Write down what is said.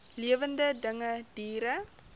lewende dinge diere